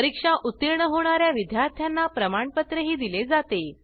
परीक्षा उत्तीर्ण होणा या विद्यार्थ्यांना प्रमाणपत्रही दिले जाते